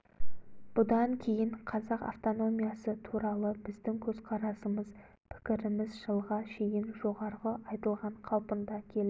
бұдан кейін қазақ автономиясы туралы біздің көзқарасымыз пікіріміз жылға шейін жоғарғы айтылған қалпында келді